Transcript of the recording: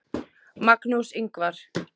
Magnús Ingvar.